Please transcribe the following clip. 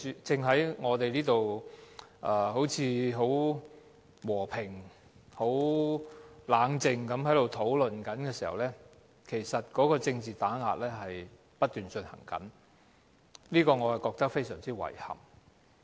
當我們在此和平、冷靜地討論的時候，政治打壓正不斷進行，對此我感到非常遺憾。